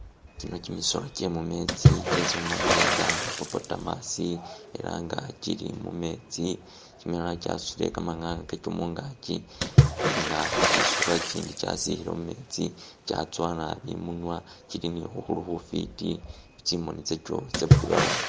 Kino kimisolo kye mumetsi kyesi khumanyile nga hippopotamus ela nga kili mumetsi ela nga kimilala kyasutile kamanayu kakyo mungaki nga kha kisuba ikindi kyatsile mumetsi kyatsowa nabi i'munwa, kili ni khukhuru khufwiti, tsimoni tsakyo tsa brown.